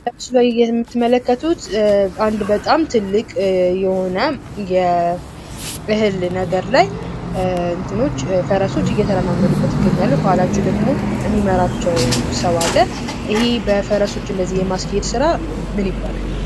በምስሉ ላይ የምትመለከቱት አንድ በጣም ትልቅ የሆነ የእህል ነገር ላይ ፈረሶች እየተረማመዱበት ይገኛሉ። ከኋላቸው ደግሞ የሚመራቸው ሰው አለ። ይህ እንደዚህ በፈረሶች የማስኬድ ስራ ምን ይባላል?